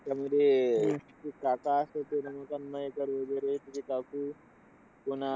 त्याच्यामध्ये, अह ते काका असतात रमाकांत मयेकर वगैरे. त्याची काकू पुन्हा